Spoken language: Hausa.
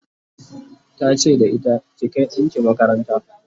ta ce da ita"ki Kai ɗanki makaranta!"